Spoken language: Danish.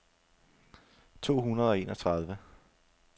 to hundrede og enogtredive